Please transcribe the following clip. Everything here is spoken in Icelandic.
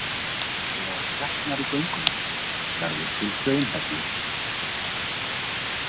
Þegar sjatnar í göngunum verður til hraunhellir.